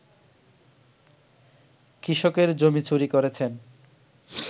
কৃষকের জমি চুরি করেছেন